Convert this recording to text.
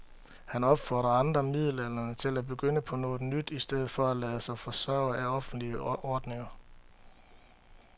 Han opfordrer andre midaldrende til at begynde på noget nyt i stedet for at lade sig forsørge af offentlige ordninger.